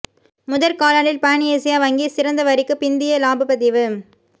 முதற் காலாண்டில் Pan Asia வங்கி சிறந்த வரிக்கு பிந்திய இலாபப் பதிவு